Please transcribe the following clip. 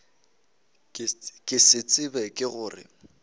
ke se tseba ke gore